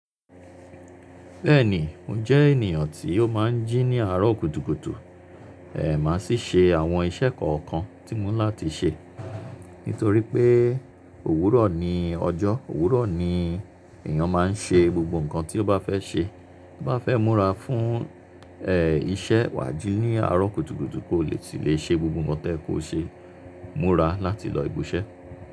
Bẹ́ẹ̀ni, mo jẹ́ ènìyàn tí ó máa ń jí ní àárọ̀ kùtùkùtù. Èè má sì ṣe àwọn iṣẹ́ kọ̀ọ̀kan tí mo ní láti ṣe. Nítorí pé òwúrọ̀ ni ọjọ́, òwúrọ̀ ni èèyàn máa ń ṣe gbogbo nǹkan tí ó bá fẹ́ ṣe. Ti o bá fẹ́ múra fún, ẹ́, iṣẹ́ wà jí ní àárọ̀ kùtùkùtù kó le sì lè ṣe gbogbo nǹkan tí ẹ kò ṣe. Múra láti lọ ibi iṣẹ́